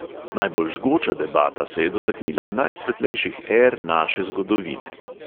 Najbolj žgoča debata se je dotaknila najsvetlejših er naše zgodovine.